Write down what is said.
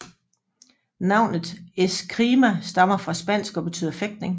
Navnet Escrima stammer fra spansk og betyder fægtning